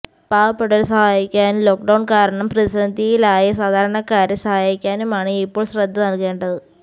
പാവപ്പെട്ടവരെ സഹായിക്കാനും lockdown കാരണം പ്രതിസന്ധിയിലായ സാധരണക്കാരെ സഹായിക്കാനുമാണ് ഇപ്പോള് ശ്രദ്ധ നല്കേണ്ടത്